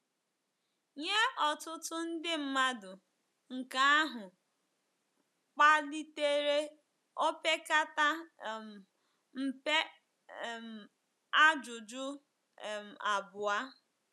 Nye ọtụtụ ndị mmadụ, nke ahụ kpalitere opekata um mpe um ajụjụ um abụọ.